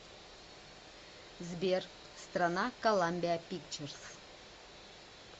сбер страна коламбиа пикчерз